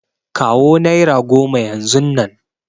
Kawo nera goma yanzun nan!